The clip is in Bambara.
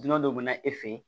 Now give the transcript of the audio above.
Dunan dɔ bɛ na e fɛ ye